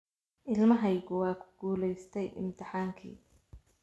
Ilmahaygu waa ku guulaystay imtixaankii